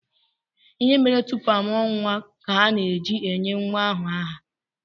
Ihe mere tupu a mụọ nwa ka ana-eji enye nwa ahụ aha.